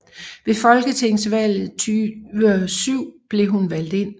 Ved Folketingsvalget 2007 blev hun valgt ind